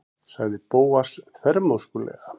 sagði Bóas þvermóðskulega.